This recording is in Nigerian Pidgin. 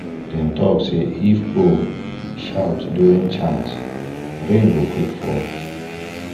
dem talk say if owl shout during chant rain go quick fall